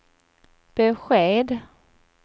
besked